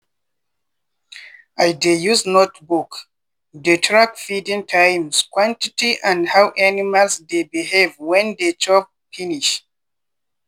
i dey use notebook dey track feeding times quantity and how animals dey behave when dey chop finish.